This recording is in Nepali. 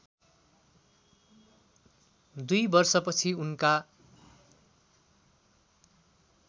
२ वर्षपछि उनका